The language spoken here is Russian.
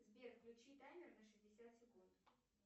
сбер включи таймер на шестьдесят секунд